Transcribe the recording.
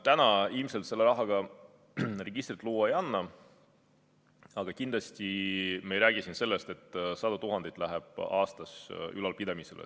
Täna ilmselt sellise raha eest registrit luua ei saa, aga kindlasti ei lähe aastas sadu tuhandeid ülalpidamisele.